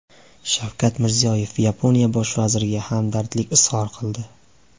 Shavkat Mirziyoyev Yaponiya bosh vaziriga hamdardlik izhor qildi.